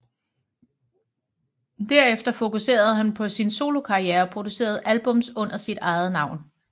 Derefter fokuserede han på sin solokarriere og producerede albums under sit eget navn